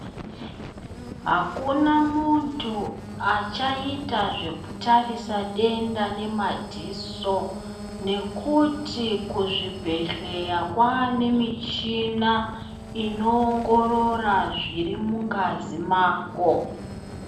Akuna muntu achaita zvekutarisa denda nemadziso nekuti kuzvibhedhlera kwaane michina inoongorora zviri mungazi mako.